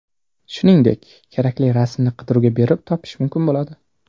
Shuningdek, kerakli rasmni qidiruvga berib topish mumkin bo‘ladi.